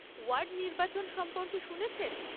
Word নির্বাচন সম্পর্কে শুনেছেন?